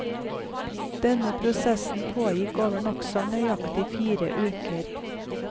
Denne prosessen pågikk over nokså nøyaktig fire uker.